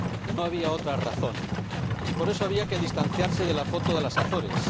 No había otra razón y por eso había que distanciarse de la foto de las Azores.